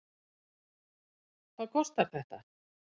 Hvað kostar þetta?